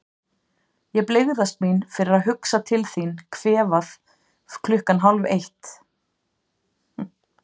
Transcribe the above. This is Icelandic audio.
Ég blygðast mín fyrir að hugsa til þín kvefað klukkan hálfeitt.